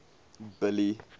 billy